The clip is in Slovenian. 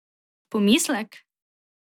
Pomislek?